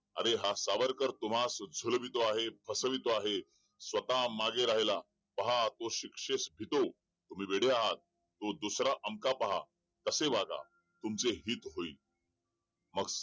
अरे हा सावरकर तुम्हास भुलवितो आहे फसवितो आहे स्वतः मागे राहायला पाहा तो शिक्षेस भितो तुम्ही वेडे आहात तो दुसरा अमका पाहा तसे वागा तुमचे हित होईल